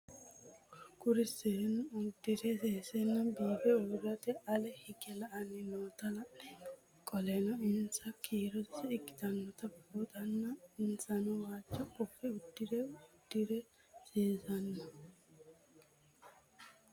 Kuri seenu udire sesena biife urite ale hige la'ani noota la'nemo qoleno insa kiiro sase ikinotana bunxana insano waajo qofe udune udire sesena